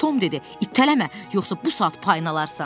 Tom dedi: İtələmə, yoxsa bu saat payını alarsan.